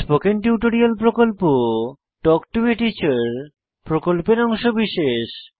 spoken tutorial প্রকল্প talk to a teacher প্রকল্পের অংশবিশেষ